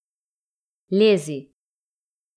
Lezi!